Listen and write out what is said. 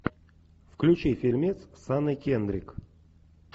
включи фильмец с анной кендрик